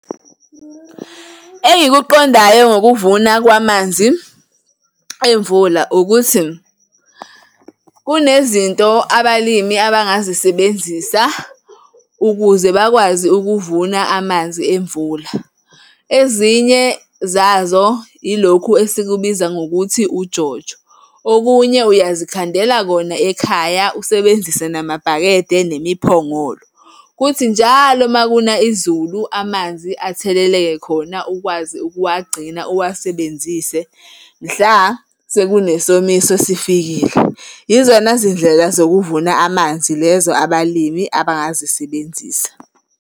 Engikuqondayo ngokuvuna kwamanzi emvula ukuthi, kunezinto abalimi abangazisebenzisa ukuze bakwazi ukuvuna amanzi emvula. Ezinye zazo ilokhu esikubiza ngokuthi uJojo, okunye uyazikhandela kona ekhaya, usebenzise namabhakede nemiphongolo, kuthi njalo uma kuna izulu amanzi atheleleke khona ukwazi ukuwagcina uwasebenzise mhla sekune somiso sifikile. Yizona zindlela zokuvuna amanzi lezo abalimi abangazisebenzisa.